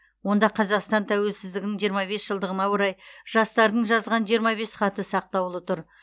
онда қазақстан тәуелсіздігінің жиырма бес жылдығына орай жастардың жазған жиырма бес хаты сақтаулы тұр